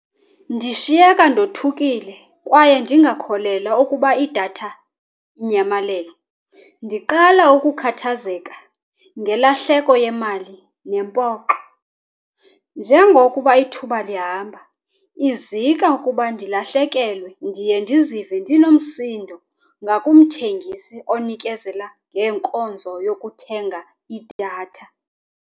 Ndishiyeka ndothukile kwaye ndingakholelwa ukuba idatha inyamalele. Ndiqala ukukhathazeka ngelahleko yemali nempoxo. Njengokuba ithuba lihamba izika ukuba ndilahlekelwe, ndiye ndizive ndinomsindo ngakumthengisi onikezela ngenkonzo yokuthenga idatha.